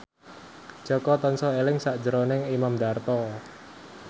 Jaka tansah eling sakjroning Imam Darto